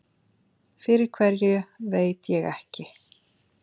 Fyrir hverju veit ég ekki.